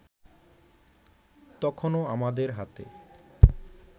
তখনো আমাদের হাতে